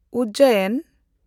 ᱩᱡᱽᱡᱚᱭᱤᱱ